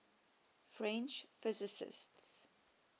french physicists